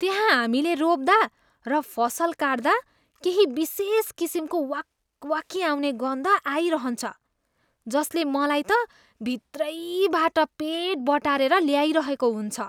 त्यहाँ हामीले रोप्दा र फसल काट्दा केही विशेष किसिमको वाकवाकी आउने गन्ध आइरहन्छ, जसले मलाई त भित्रैबाट पेट बटारेर ल्याइरहेको हुन्छ।